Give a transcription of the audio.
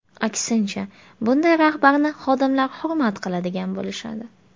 Aksincha bunday rahbarni xodimlar hurmat qiladigan bo‘lishadi.